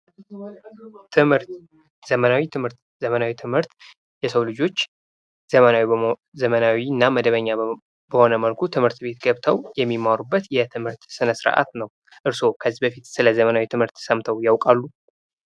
ትምህርት ፦ ዘመናዊ ትምህርት ፦ ዘመናዊ ትምህርት የሰው ልጆች ዘመናዊ እና መደበኛ በሆነ መልኩ ትምህርት ቤት ገብተው የሚመሩበት ትምህርት ስነ ስርዓት ነው ። እርሶ ከዚህ በፊት ስለዘመናዊ ትምህርት ሰምተው ያውቃሉ ?